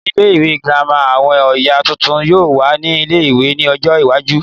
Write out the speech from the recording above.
Ní ilé ìwé girama, àwọn oyè tuntun yóò wà ní ilé-ìwé ní ọjọ́ iwájú